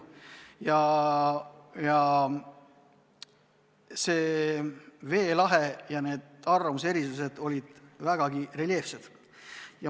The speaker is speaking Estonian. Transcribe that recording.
Valitsev veelahe, arvamuste erisused ilmnesid vägagi reljeefselt.